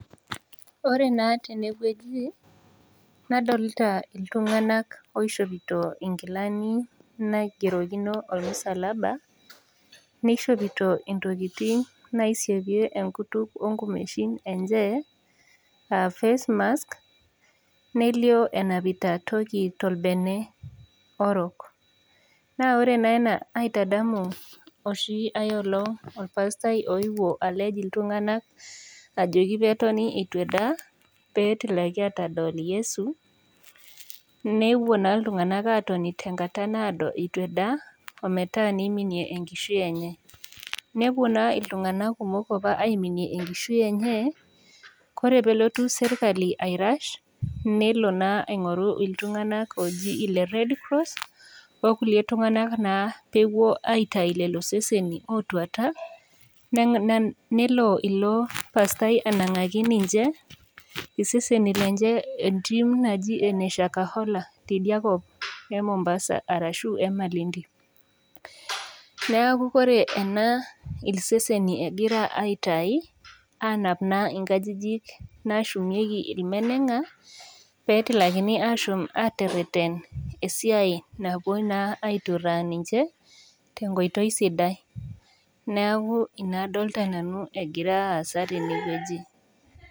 Ore naa tene wueji nadolita iltunganak oishopito nkilani naigerokino ormusalaba neishopito ntokitin naisapie enkutuk onkumeshin enye aa face mask. Nelio enapita toki tolbene orok. Naa ore naa ena naitadamu oshi ai olong olpasitai oyeuo alej iltunganak ajoki peyie etoni eitu edaa peet etilaki aatodol Yesu. Nepuo naa iltunganak aatoni tenkata naado etu edaa ometaa neiminie enkishui enye. Nepuo naa iltunganak kumok apa aiminie enkishui enye, ore peyie elotu serkali airash nelo naa aingoru iltunganak ooji ele redcross okulie tunganak naa peyie epuoi aitayu lelo seseni ootuata, nelo ilopasitai anangaki ninche iseseni lenye entim naji ene Shakahola teidi te Mombasa arashu Emalindi. Niaku ore ena iseseni egira aitayu aanap naa inkajijik naashumeiki ilmenenga peetilakini aashom atereten esiai napuo naa aituraa ninche tenkoitoi sidai. Niaku ina adolita nanu egira aasa tene wueji